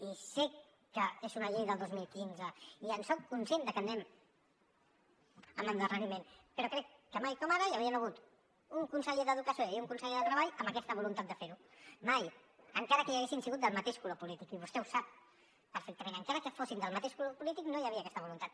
i sé que és una llei del dos mil quinze i en soc conscient de que anem amb endarreriment però crec que mai com ara hi havien hagut un conseller d’educació i un conseller de treball amb aquesta voluntat de fer ho mai encara que hi haguessin sigut del mateix color polític i vostè ho sap perfectament encara que fossin del mateix color polític no hi havia aquesta voluntat